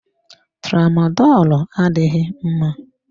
Tramadolu adịghị mma.